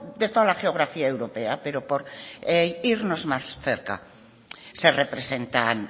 de toda la geografía europea pero por irnos más cerca se representan